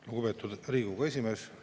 Lugupeetud Riigikogu esimees!